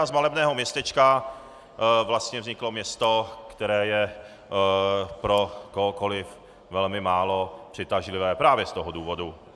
A z malebného městečka vlastně vzniklo město, které je pro kohokoli velmi málo přitažlivé právě z toho důvodu.